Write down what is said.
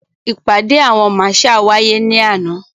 Ìpàdé àwọn marshal wáyé ní àná.